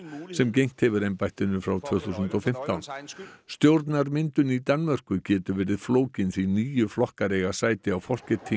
sem gegnt hefur embættinu frá tvö þúsund og fimmtán stjórnarmyndun í Danmörku getur verið flókin því níu flokkar eiga sæti á